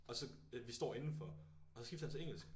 Og så vi står indenfor og så skifter han til engelsk